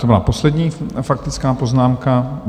To byla poslední faktická poznámka...